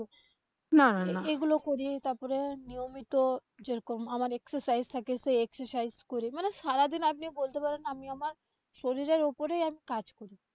এগুলো করে তারপরে নিয়মিত যে রকম আমার exercise থাকে সেই exercise করে। মানে সারাদিন আপনি বলতে পারেন আমি আমার শরীরের উপরেই এক কাজ করি।